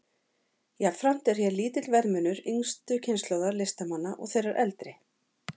Jafnframt er hér lítill verðmunur yngstu kynslóðar listamanna og þeirrar eldri.